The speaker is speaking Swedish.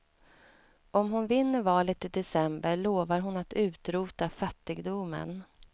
Om hon vinner valet i december lovar hon att utrota fattigdomen.